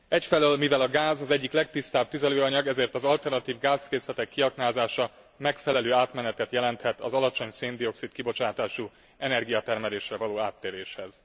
Egyfelől mivel a gáz az egyik legtisztább tüzelőanyag, ezért az alternatív gázkészletek kiaknázása megfelelő átmenetet jelenthet az alacsony szén dioxid kibocsátású energiatermelésre való áttéréshez.